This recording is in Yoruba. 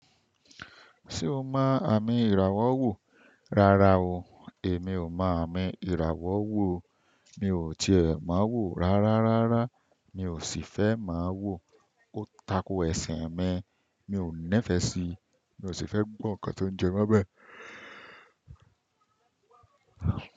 Ṣé o mọ àmì ìràwọ̀ wò? Rárá o, èmi ò mọ àmì ìràwọ̀ wò o. Mi ò tiẹ̀ mo wò rárá rárá. Mi ò sì fẹ́ má wò. Ó tako ẹ̀sin mi. Mi ò nífẹ̀ẹ́ síi. Mi ò sì fẹ́ gbọ́ nǹkan tó ń jẹ mọ́ bẹ́.